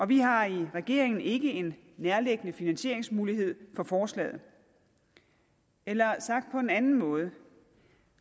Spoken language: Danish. vi har i regeringen ikke en nærliggende finansieringsmulighed for forslaget eller sagt på en anden måde